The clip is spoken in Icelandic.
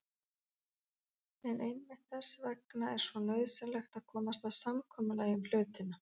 En einmitt þess vegna er svo nauðsynlegt að komast að samkomulagi um hlutina.